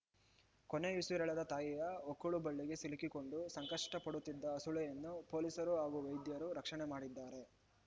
ಕೊನೆಯುಸಿರೆಳೆದ ತಾಯಿಯ ಹೊಕ್ಕಳುಬಳ್ಳಿಗೆ ಸಿಲುಕಿಕೊಂಡು ಸಂಕಷ್ಟಪಡುತ್ತಿದ್ದ ಹಸುಳೆಯನ್ನು ಪೊಲೀಸರು ಹಾಗೂ ವೈದ್ಯರು ರಕ್ಷಣೆ ಮಾಡಿದ್ದಾರೆ